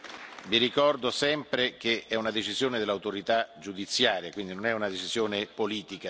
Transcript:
Vi ricordo sempre che è una decisione dell'autorità giudiziaria, quindi non è una decisione politica.